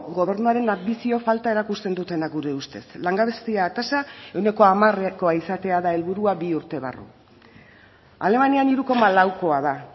gobernuaren anbizio falta erakusten dutenak gure ustez langabezia tasa ehuneko hamarekoa izatea da helburua bi urte barru alemanian hiru koma laukoa da